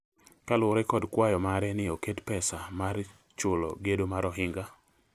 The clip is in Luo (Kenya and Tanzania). kaluwore kod kwayo mare ni oket pesa mar chulo gedo mar ohinga